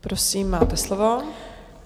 Prosím, máte slovo.